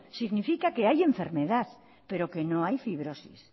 significa que hay enfermedad pero que no hay fibrosis